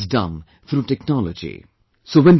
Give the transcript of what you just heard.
Everything is done through technology